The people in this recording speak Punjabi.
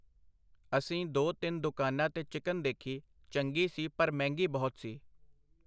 ਅਸੀਂ ਦੋ ਤਿੰਨ ਦੁਕਾਨਾਂ ਤੇ ਚਿਕਨ ਦੇਖੀ, ਚੰਗੀ ਸੀ ਪਰ ਮਹਿੰਗੀ ਬਹੁਤ ਸੀ.